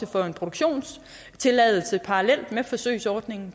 for en produktionstilladelse parallelt med forsøgsordningen